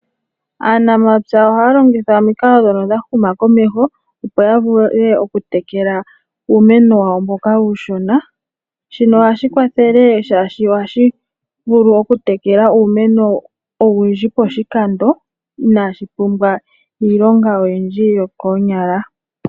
Aanamapya ohaya longitha omikalo ndhono dhahuma komeho, opo ya vule okutekela uumeno wawo mboka uushona. Shino ohashi kwathele shaashi ohashi vulu okutekela uumeno owundji poshikando iinashi pumbwa iilonga oyindji yokoonyala.